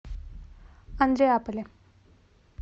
андреаполе